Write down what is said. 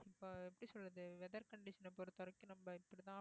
இப்ப எப்படி சொல்றது weather condition அ பொறுத்தவரைக்கும் நம்ம இப்படித்தான்